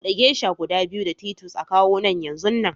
bude geisha guda biyu da Titus a kawo nan yanzunnan